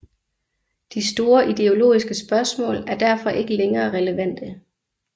De store ideologiske spørgsmål er derfor ikke længere relevante